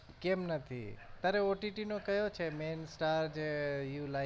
કેમ નથી તારે OTT નો કયો છે main star જે you like